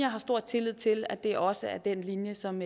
har stor tillid til at det også er den linje som